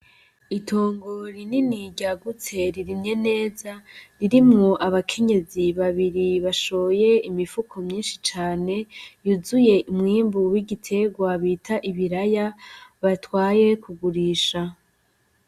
Itongo rinini ryagutse ririmye neza, ririmwo abakenyezi babiri bashoye imifuko myishi cane, yuzuye umwimbu w'igiterwa bita ibiraya, batwaye kugurisha.